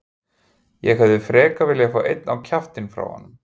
Ég hefði frekar viljað fá einn á kjaftinn frá honum.